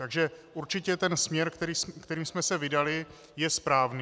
Takže určitě ten směr, kterým jsme se vydali, je správný.